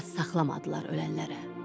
Yad saxlamadılar ölənlərə.